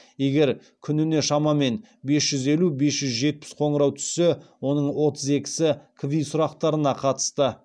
егер күніне шамамен бес жүз елу бес жүз жетпіс қоңырау түссе оның отыз екісі кви сұрақтарына қатысты